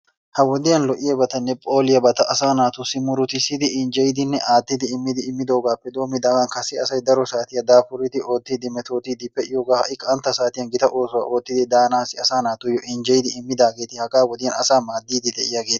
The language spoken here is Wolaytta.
Ha wodiyan lo"iyaabatanne phooliyaabata asaa naatussi murutissidi injjeyidinne aattidi immidi immidoogaappe doommidaagan kase asay daro saatiya daafuriiddi oottiiddi metootiiddi de"iyoogaa ha"i qantta saatiyan gita oosuwaa oottidi daanaassi asaa naatussi injjeyidi immidaageeti hagaa wodiyan asaa maaddiiddi de"iyaageeta.